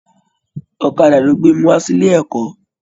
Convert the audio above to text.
Ọ̀kàdà lọ gbe mi wa síle ẹkọ.